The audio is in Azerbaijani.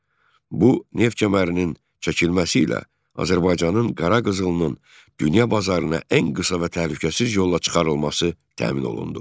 Bu neft kəmərinin çəkilməsi ilə Azərbaycanın qara qızılının dünya bazarına ən qısa və təhlükəsiz yolla çıxarılması təmin olundu.